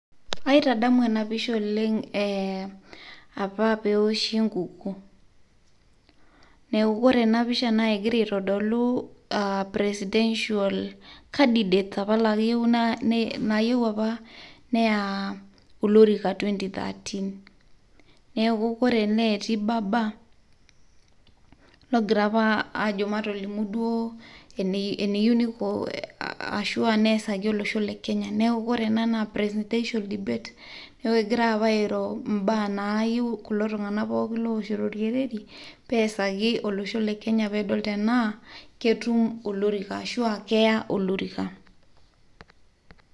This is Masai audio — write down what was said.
Aaitadamu ena pisha oleng' apa pee eosshi enkukuo. Neeku ore ena pisha egira aitodolu presidential candidates naayieu apa neya olorika twenty thirteen. Neeku ore ene etii Baba, logira apa ajo matolimu duo eneyieu niko aashu neesaki olosho lekenya. Neeku ore ena naa presidential debate, neeku egirai apa aairo imbaa naayieu kulo tung'anak pee eesaki olosho lekenya pee edol tenaa ketum ashu keya olorika.